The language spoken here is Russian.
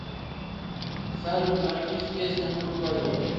салют наргиз песня мы вдвоем